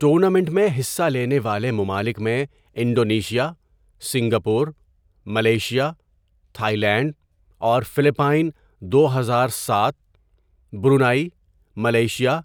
tournament میں حصہ لینے والے ممالک میں Indonesia, Singapore, Malaysia, Thailand اور فلپائن دو ہزار سات، برونائی، ملائیشیا،